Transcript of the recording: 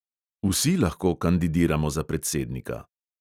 Vsi lahko kandidiramo za predsednika.